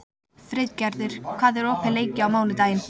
Friðgerður, hvað er opið lengi á mánudaginn?